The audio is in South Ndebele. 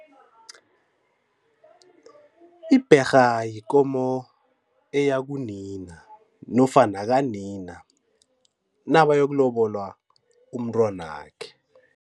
Ibherha yikomo eya kunina nofana yakanina nabayokulobola umntwanakhe.